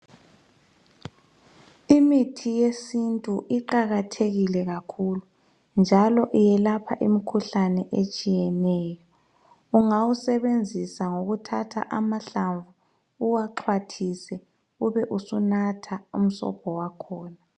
imithi yesintu iqakathekile kakhulu njalo iyelapha imikhuhlane etshiyeneyo ungawusebenzisa ngokuthatha amahlamvu uwaxwathise ube usunatha umsobho wakhona